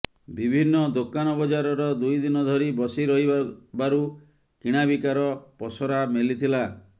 ବିଭିନ୍ନ ଦୋକାନ ବଜାରର ଦୁଇ ଦିନ ଧରି ବସି ରହିବାରୁ କିଣାବିକାର ପସରା ମେଲିଥିଲା